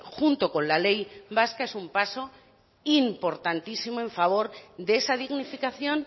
junto con la ley vasca es un paso importantísimo en favor de esa dignificación